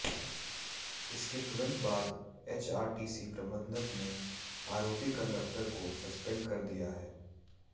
इसके तुरंत बाद एचआरटीसी प्रबंधन ने आरोपी कंडक्टर को सस्पेंड कर दिया है